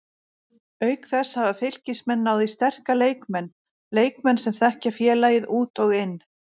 Auk þess hafa Fylkismenn náð í sterka leikmenn, leikmenn sem þekkja félagið út og inn.